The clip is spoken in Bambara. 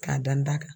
K'a dan da kan